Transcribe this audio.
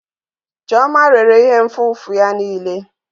Chioma rere ihe nfụfu ya niile.